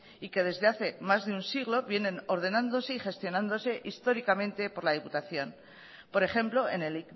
y que desde hace más de un siglo vienen ordenándose y gestionándose históricamente por la diputación por ejemplo en el